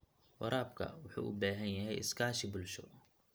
Waraabka wuxuu u baahan yahay iskaashi bulsho.